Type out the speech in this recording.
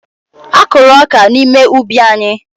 Akụrụ ọka n'ime ubi anyị.